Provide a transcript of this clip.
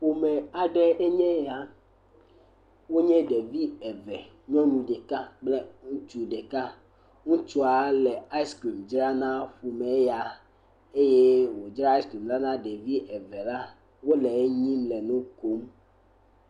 Ƒome aɖe enye eya, wonye ɖevi eve, nyɔnu ɖeka kple ŋutsu ɖeka, ŋutsua le aiskrim dzram na ƒome ya eye wòdzra aiskrim la na ɖevi evelia wole enyim le nu kom.